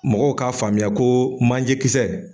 Mɔgɔw k'a faamuya koo manje kisɛ